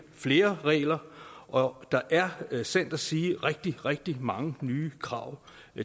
flere regler og der er sandt at sige rigtig rigtig mange nye krav